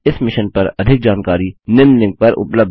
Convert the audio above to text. इस मिशन पर अधिक जानकारी निम्न लिंक पर उपलब्ध है